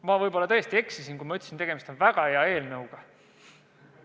Ma võib-olla tõesti eksisin, kui ütlesin, et tegemist on väga hea eelnõuga.